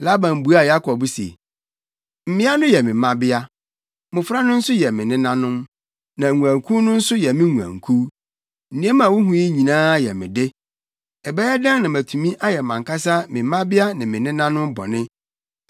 Laban buaa Yakob se, “Mmea no yɛ me mmabea, mmofra no nso yɛ me nenanom, na nguankuw no nso yɛ me nguankuw. Nneɛma a wuhu yi nyinaa yɛ me de. Ɛbɛyɛ dɛn na matumi ayɛ mʼankasa me mmabea ne me nenanom bɔne?